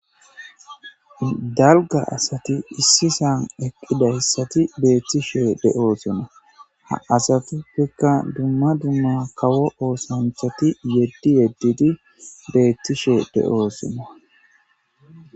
dalga asati issisan eqqidayssati beettishe de7oosona ha asatuppekka dumma dumma kawo oosanthati yeddi yeddidi beettishe de7oosonna